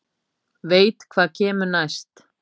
Veit hvað kemur næst.